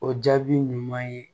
O jaabi ɲuman ye